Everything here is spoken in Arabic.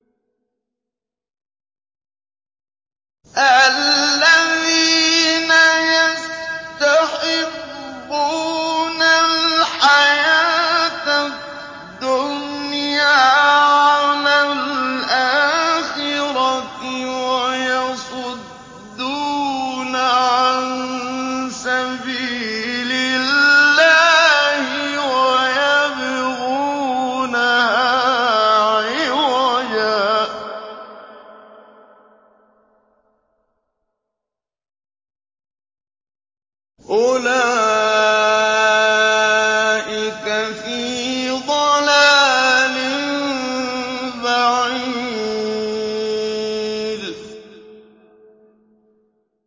الَّذِينَ يَسْتَحِبُّونَ الْحَيَاةَ الدُّنْيَا عَلَى الْآخِرَةِ وَيَصُدُّونَ عَن سَبِيلِ اللَّهِ وَيَبْغُونَهَا عِوَجًا ۚ أُولَٰئِكَ فِي ضَلَالٍ بَعِيدٍ